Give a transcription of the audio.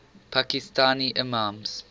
pakistani imams